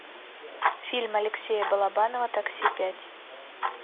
фильм алексея балабанова такси пять